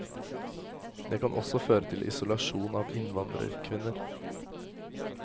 Det kan også føre til isolasjon av innvandrerkvinner.